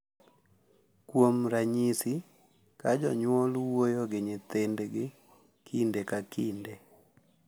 Kuom ranyisi, ka jonyuol wuoyo gi nyithindgi kinde ka kinde,